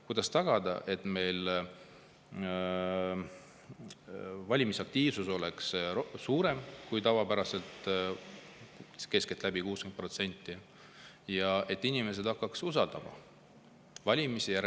Kuidas tagada, et valimisaktiivsus oleks suurem kui tavapäraselt, keskeltläbi 60%, ja et inimesed hakkaksid usaldama valimisi?